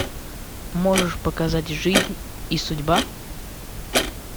можешь показать жизнь и судьба